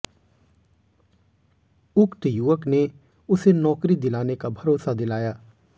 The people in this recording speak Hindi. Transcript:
उक्त युवक ने उसे नौकरी दिलाने का भरोसा दिलाया